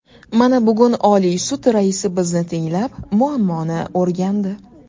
Mana, bugun Oliy sud raisi bizni tinglab, muammoni o‘rgandi.